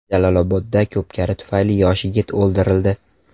Jalolobodda ko‘pkari tufayli yosh yigit o‘ldirildi.